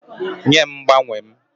Nye m mgbanwe m!